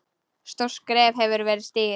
Stórt skref hefur verið stigið.